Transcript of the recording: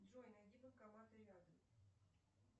джой найди банкоматы рядом